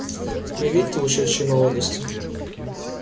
реликты ушедшей молодости